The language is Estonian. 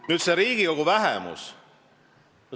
Nüüd Riigikogu vähemusest.